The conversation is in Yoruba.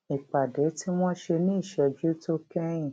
ìpàdé tí wón ṣe ní ìṣéjú tó kéyìn